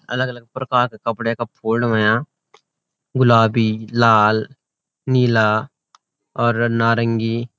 अलग अलग प्रकार के कपडे का फोल्ड हुयां गुलाबी लाल नीला और नारंगी।